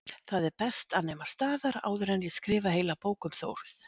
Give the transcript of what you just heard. Það er best að nema staðar áður en ég skrifa heila bók um Þórð